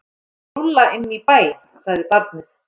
Hann er lúlla inn í bæ, sagði barnið.